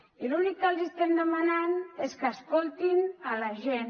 i l’únic que els estem demanant és que escoltin la gent